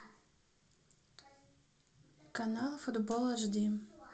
канал футбол эшди